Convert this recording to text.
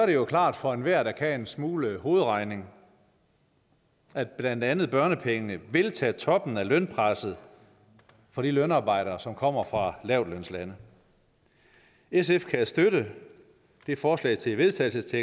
jo klart for enhver der kan en smule hovedregning at blandt andet børnepengene vil tage toppen af lønpresset for de lønarbejdere som kommer fra lavtlønslande sf kan støtte det forslag til vedtagelse